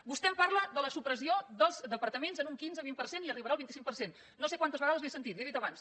vostè em parla de la supressió dels departaments en un quinze vint per cent i arribarà al vint cinc per cent no sé quantes vegades li ho he sentit li ho he dit abans